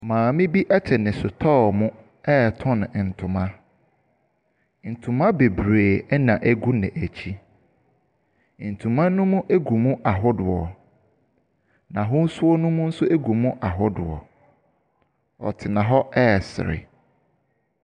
Maame bi ɛte ne sotɔɔ mu ɛɛtɔn ntoma. Ntoma bebree ɛna egu n'ɛkyi. Ntoma no gu mu ahodoɔ, n'ahosuo no nso gu mu ahodoɔ. Ɔtena hɔ ɛresre.